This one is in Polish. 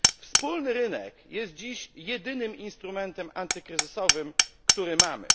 Wspólny rynek jest dziś jedynym instrumentem antykryzysowym, który mamy.